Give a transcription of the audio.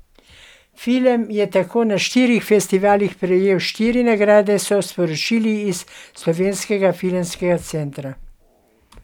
Film je tako na štirih festivalih prejel štiri nagrade, so sporočili iz Slovenskega filmskega centra.